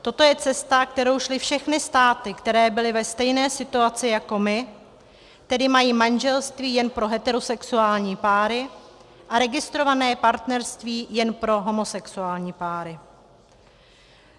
Toto je cesta, kterou šly všechny státy, které byly ve stejné situaci jako my, tedy mají manželství jen pro heterosexuální páry a registrované partnerství jen pro homosexuální páry.